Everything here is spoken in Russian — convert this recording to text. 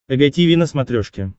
эг тиви на смотрешке